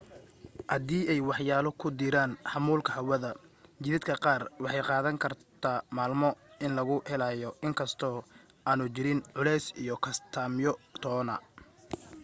haddii ay waxyaalo ku diraan xamuulka hawada jidadka qaar waxay qaadan kartaa maalmo in lagu helaayi inkastoo aanu jirin culays iyo kastamyo toona